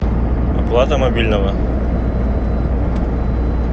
оплата мобильного